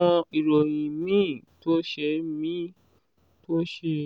àwọn ìròyìn míì tó ṣe míì tó ṣe